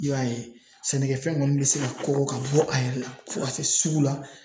I y'a ye sɛnɛkɛfɛn ninnu bɛ se ka ko ka bɔ a yɛrɛ la fo ka se sugu la